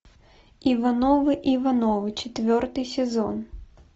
ивановы ивановы четвертый сезон